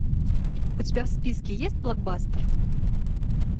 у тебя в списке есть блокбастер